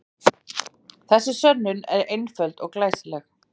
Þessi sönnun er einföld og glæsileg.